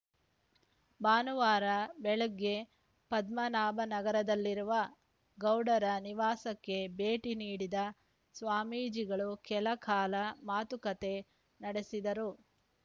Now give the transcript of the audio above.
ಭಾನುವಾರ ಬೆಳಗ್ಗೆ ಪದ್ಮನಾಭನಗರದಲ್ಲಿರುವ ಗೌಡರ ನಿವಾಸಕ್ಕೆ ಭೇಟಿ ನೀಡಿದ ಸ್ವಾಮೀಜಿಗಳು ಕೆಲಕಾಲ ಮಾತುಕತೆ ನಡೆಸಿದರು